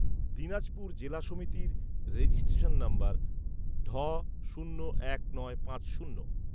দিনাজপুর জেলা সমিতির registration number ঢ শূন্য এক নয় পাঁচ শূন্য